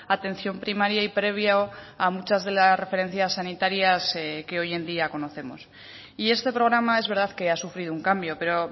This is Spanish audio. atención primaria y previo a muchas de las referencias sanitarias que hoy en día conocemos y este programa es verdad que ha sufrido un cambio pero